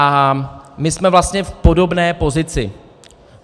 A my jsme vlastně v podobné pozici.